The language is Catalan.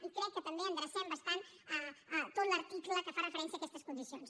i crec que també endrecem bastant tot l’article que fa referència a aquestes condicions